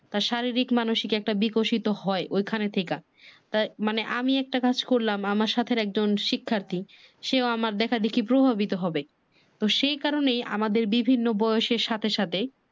তার শারীরিক মানসিক একটা বিকশিত হয় ওখান থেইকা। আমি একটা কাজ করলাম আমার সাথের একজন শিক্ষার্থী সেও আমার দেখা দেখি প্রভাবিত হবে তো সেই কারণে আমাদের বিভিন্ন বয়সের সাথে সাথে